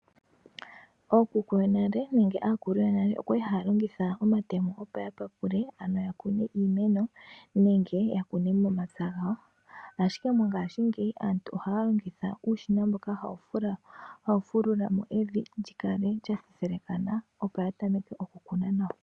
Ookuku yonale nenge aakulu yonale oya li haya longitha omatemo opo ya papule ano ya kune iimeno nenge ya kune omapya gawo. Ashike mongaashingeyi aantu ohaya longitha uushina mboka hawu fulula mo evi lyikale lya thethelekana opo ya tameke oku kuna nawa.